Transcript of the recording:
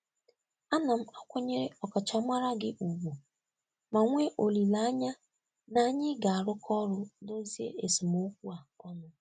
Ana m akwanyere ọkachamara gị ùgwù ma nwee olileanya na anyị ga-arụkọ ọrụ dozie esemokwu a ọnụ.